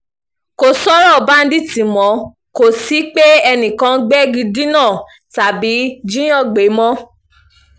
kò sọ̀rọ̀ báńdíìtì mọ́ kò sí pé enìkan ń gbégi dínà tàbí jíìyàn gbé mọ́